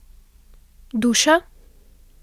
Duša?